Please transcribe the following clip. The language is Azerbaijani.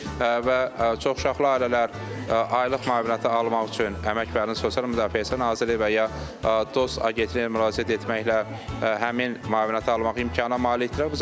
Və çox uşaqlı ailələr aylıq müavinəti almaq üçün Əmək və Əhalinin Sosial Müdafiəsi Nazirliyi və ya Dost Agentliyinə müraciət etməklə həmin müavinəti almaq imkanına malikdirlər.